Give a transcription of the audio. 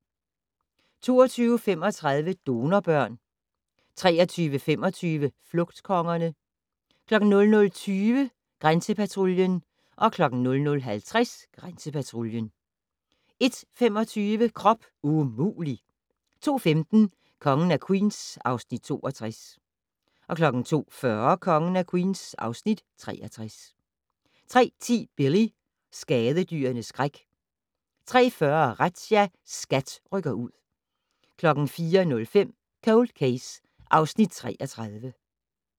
22:35: Donorbørn 23:25: Flugtkongerne 00:20: Grænsepatruljen 00:50: Grænsepatruljen 01:25: Krop umulig! 02:15: Kongen af Queens (Afs. 62) 02:40: Kongen af Queens (Afs. 63) 03:10: Billy - skadedyrenes skræk 03:40: Razzia - SKAT rykker ud 04:05: Cold Case (Afs. 33)